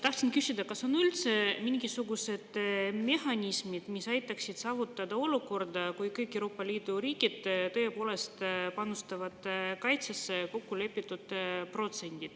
Tahtsin küsida, kas on üldse mingisugused mehhanismid, mis aitaksid saavutada olukorda, kus kõik Euroopa Liidu riigid tõepoolest panustavad kaitsesse kokkulepitud protsendi.